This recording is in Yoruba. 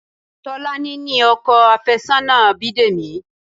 Tolani ni ọkọ àfẹ́sọ́nà Bidemi